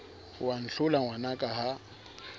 o a ntlhola ngwanaka ha